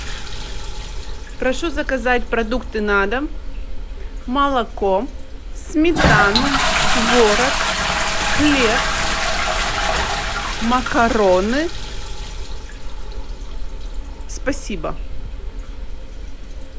прошу заказать продукты на дом молоко сметану творог хлеб макароны спасибо